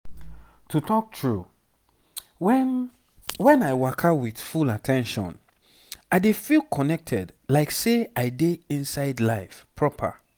wait small when i dey waka with sense i dey always feel say i connect with everything wey dey around me